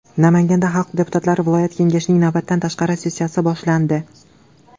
Namanganda xalq deputatlari viloyat kengashining navbatdan tashqari sessiyasi boshlandi.